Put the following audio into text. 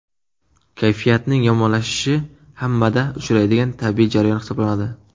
Kayfiyatning yomonlashishi hammada uchraydigan tabiiy jarayon hisoblanadi.